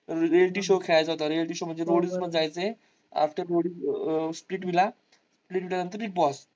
reality show खेळायचा होता. reality show म्हणजे roadies मध्ये जायचं आहे. after rodies splitvilla splitvilla नंतर big boss